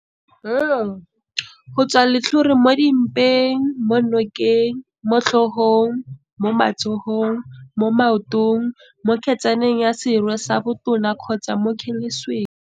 L - Go tswa letlhole mo dimpeng, mo nokeng, mo tlhogong, mo matsogong, mo maotong, mo kgetsa neng ya serwe sa botona kgotsa mo kgelesweng.